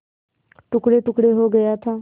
टुकड़ेटुकड़े हो गया था